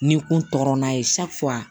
N'i kun tɔɔrɔ n'a ye